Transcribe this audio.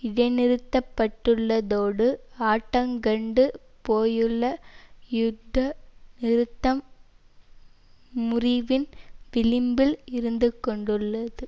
இடைநிறுத்தப்பட்டுள்ளதோடு ஆட்டங்கண்டு போயுள்ள யுத்த நிறுத்தம் முறிவின் விளிம்பில் இருந்துகொண்டுள்ளது